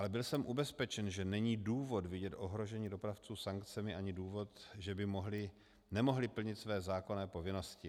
Ale byl jsem ubezpečen, že není důvod vidět ohrožení dopravců sankcemi ani důvod, že by nemohli plnit své zákonné povinnosti.